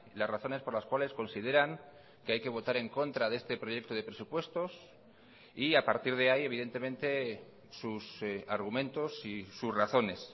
las razones por las cuales consideran que hay que votar en contra de este proyecto de presupuestos y a partir de ahí evidentemente sus argumentos y sus razones